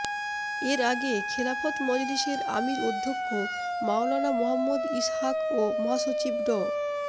এর আগে খেলাফত মজলিসের আমীর অধ্যক্ষ মাওলানা মোহাম্মদ ইসহাক ও মহাসচিব ড